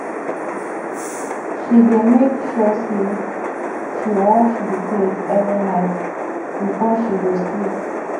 she dey make sure sey she wash di plate every night before she go sleep